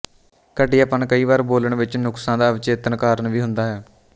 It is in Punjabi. ਘਟੀਆਪਣ ਕਈ ਵਾਰ ਬੋਲਣ ਵਿੱਚ ਨੁਕਸਾਂ ਦਾ ਅਵਚੇਤਨ ਕਾਰਨ ਵੀ ਹੁੰਦਾ ਹੈ